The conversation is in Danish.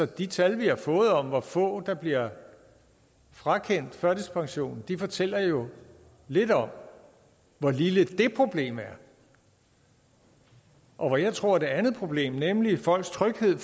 de tal vi har fået om hvor få der bliver frakendt førtidspensionen fortæller jo lidt om hvor lille det problem er og jeg tror et andet problem nemlig folks tryghed